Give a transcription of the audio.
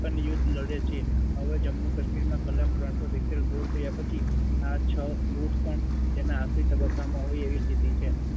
છતાં પણ યુદ્ધ લડે છે. હવે જમ્મુ કાશ્મીરમાં કલમ ત્રણસો સિત્તેર દુર થયા પછી આ છ યુદ્ધ પણ તેના આખરી તબક્કામાં હોય એવી સ્થિતિ છે.